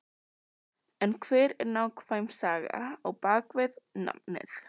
En hver er nákvæm saga á bakvið nafnið?